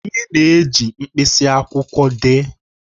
Anyị na-eji mkpịsị akwụkwọ dee